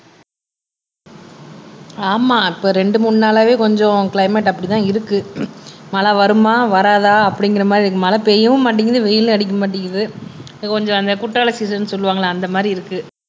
ஆமா இப்ப ரெண்டு மூணு நாளாவே கொஞ்சம் கிளைமேட் அப்படிதான் இருக்கு மழை வருமா வராதா அப்படிங்கற மாதிரி இருக்கு மழை பெய்யவும் மாட்டேங்குது வெயிலும் அடிக்க மாட்டேங்குது கொஞ்சம் அந்த குற்றால சீசன் சொல்லுவாங்கல்ல அந்த மாதிரி இருக்கு